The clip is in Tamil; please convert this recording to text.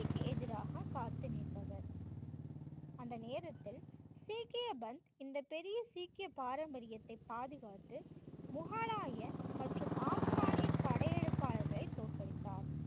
அநீதிக்கு எதிராக காத்து நிற்பவர். அந்த நேரத்தில் சீக்கியவன் பெரிய சீக்கிய பாரம்பரியத்தை பாதுகாத்து முகலாய மற்றும் ஆப்கானிய படையெடுப்பாளர்களை தோற்கடித்தார்.